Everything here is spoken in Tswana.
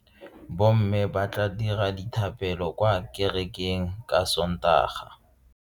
Bomme ba tla dira dithapelo kwa kerekeng ka Sontaga.